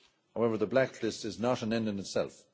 However, the blacklist is not an end in itself.